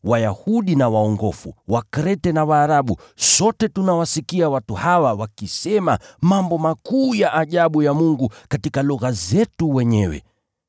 Wayahudi na waongofu, Wakrete na Waarabu, sote tunawasikia watu hawa wakisema mambo makuu ya ajabu ya Mungu katika lugha zetu wenyewe.”